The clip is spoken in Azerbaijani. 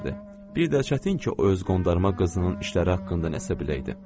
Bir də çətin ki, o öz qondarma qızının işləri haqqında nəsə biləydi.